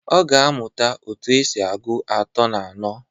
Ọ ga-amuta otu esi agụ atọ na anọ.